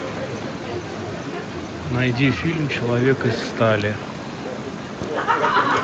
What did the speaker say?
найди фильм человек из стали